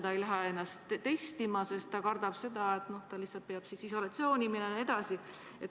Ta ei lähe ennast isegi testima, sest kardab, et siis peab ta lihtsalt isolatsiooni minema.